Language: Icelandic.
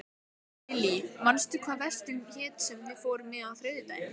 Lillý, manstu hvað verslunin hét sem við fórum í á þriðjudaginn?